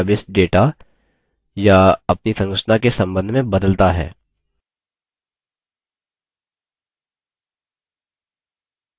यह निर्भर करता है कि कितनी बार database data या अपनी संरचना के सम्बन्ध में बदलता है